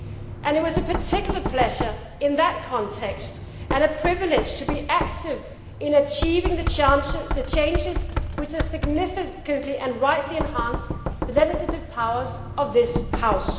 And it was a particular pleasure in that context and a privilege to be active in achieving the changes which have significantly and rightly enhanced the legislative powers of this House.